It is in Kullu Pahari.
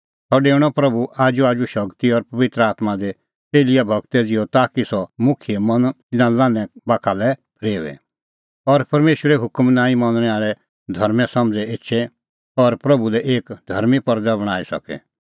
सह डेऊणअ प्रभू आजूआजू शगती और पबित्र आत्मां दी एलियाह गूरा ज़िहअ ताकि सह मुखियेओ मन तिन्नें लान्हैं बाखा लै फरेओए और परमेशरे हुकम नांईं मनणै आल़ै धर्में समझ़ एछे और प्रभू लै एक धर्मीं परज़ा बणांईं सके